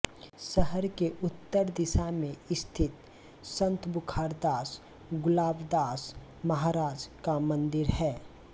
शहर के उत्तर दिशा मे स्थित संत बुखारदास गुलाबदास महाराज का मंदिर है